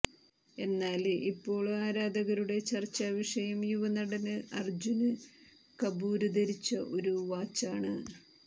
എന്നാല് ഇപ്പോള് ആരാധകരുടെ ചര്ച്ചാ വിഷയം യുവനടന് അര്ജ്ജുന് കപൂര് ധരിച്ച ഒരു വാച്ചാണ്